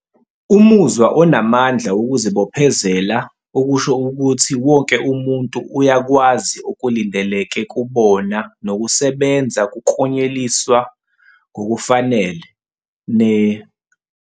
Umuzwa onamandla wokuzibophezela okusho ukuthi wonke umuntu uyakwazi okulindeleke kubona nokusebenza kuklonyeliswa ngokufanele, ne-